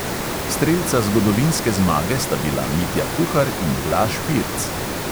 Strelca zgodovinske zmage sta bila mitja kuhar in blaž pirc.